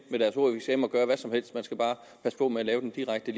gøre hvad som helst man skal bare passe på med at lave den direkte